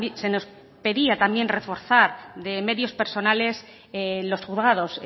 se nos pedía también reforzar de medios personales los juzgados